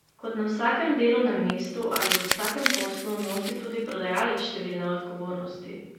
Kot na vsakem delovnem mestu ali v vsakem poslu nosi tudi prodajalec številne odgovornosti.